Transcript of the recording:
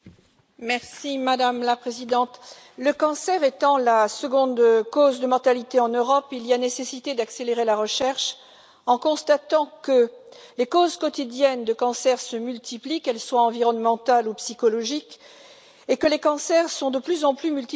Madame la Présidente, le cancer étant la seconde cause de mortalité en Europe, il y a nécessité d'accélérer la recherche, sachant que les causes quotidiennes de cancer se multiplient, qu'elles soient environnementales ou psychologiques, et que les cancers sont de plus en plus multifactoriels.